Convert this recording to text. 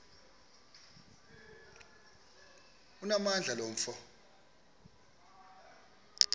onamandla lo mfo